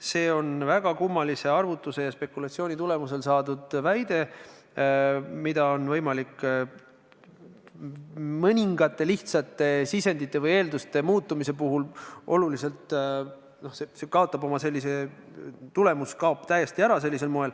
See on väga kummalise arvutuse ja spekulatsiooni tulemusel saadud seisukoht, mida on võimalik mõningaid lihtsaid sisendeid või eeldusi muutes oluliselt muuta, nii et see tulemus kaob täiesti ära.